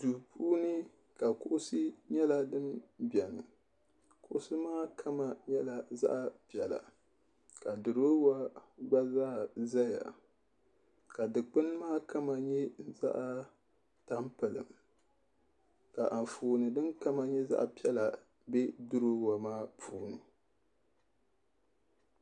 duu puuni ka kuɣusi nyɛla din biɛni kuɣusi maa kama nyɛla zaɣ piɛla ka duroowa gba zaa ʒɛya ka dikpuni maa kama nyɛ zaɣ tampilim ka Anfooni din kama nyɛ zaɣ piɛla bɛ duroowa maa puuni